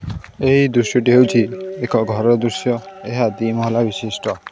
ଦୃଶ୍ୟଟି ହେଉଛି ଏକ ଘରର ଦୃଶ୍ୟ ଏହା ଦି ମହଲା ବିଶିଷ୍ଟ।